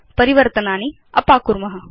परिवर्तनानि अपाकुर्म